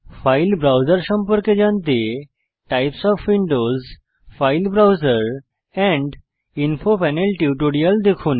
file browser সম্পর্কে জানতে types of Windows file browser and info panel টিউটোরিয়াটি দেখুন